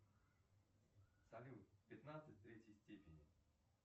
салют пятнадцать в третьей степени